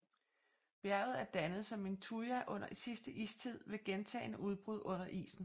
Bjerget er dannet som en tuya under sidste istid ved gentagne udbrud under isen